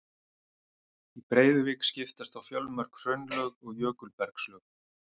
Í Breiðuvík skiptast á fjölmörg hraunlög og jökulbergslög.